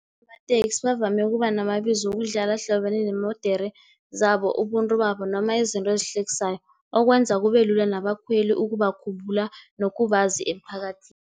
amateksi bavame ukuba namabizo wokudlala, ahlobene neemodere zabo, ubuntu babo, noma izinto ezihlekisayo, okwenza kube lula nabakhweli ukubakhumbula nokubazi emphakathini.